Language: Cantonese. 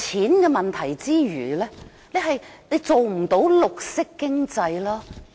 浪費金錢之餘，政府亦不能做到綠色經濟的效果。